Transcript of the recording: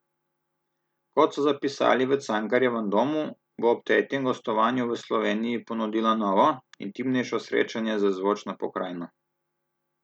Kot so zapisali v Cankarjevem domu, bo ob tretjem gostovanju v Sloveniji ponudila novo, intimnejše srečanje z zvočno pokrajino.